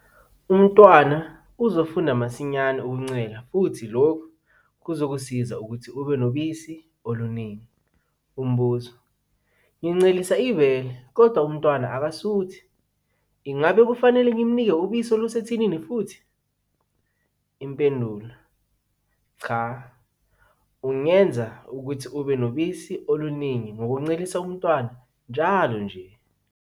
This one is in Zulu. Umntwana uzofunda masinyane ukuncela futhi lokhu kuzokusiza ukuthi ube nobisi oluningi. Umbuzo- Ngincelisa ibele, kodwa umntwana akasuthi. Ingabe kufanele ngimnike ubisi olusethinini futhi? Impendulo- Cha, ungenza ukuthi ube nobisi oluningi ngokuncelisa umntwana njalo nje.